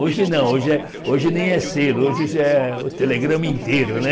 Hoje não, hoje é hoje nem é selo, hoje já é o telegrama inteiro, né?